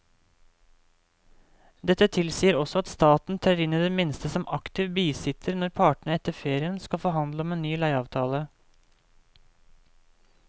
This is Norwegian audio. Dette tilsier også at staten trer inn i det minste som aktiv bisitter når partene etter ferien skal forhandle om en ny leieavtale.